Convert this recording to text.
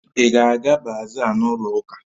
Ị ga-aga bazaa n'ụlọ ụka?